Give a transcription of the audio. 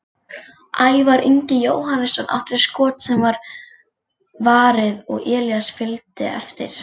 Ævar Ingi Jóhannesson átti skot sem var varið og Elías fylgdi eftir.